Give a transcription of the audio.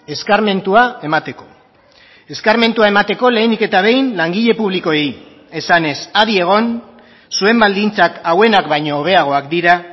eskarmentua emateko eskarmentua emateko lehenik eta behin langile publikoei esanez adi egon zuen baldintzak hauenak baino hobeagoak dira